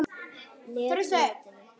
net mótinu?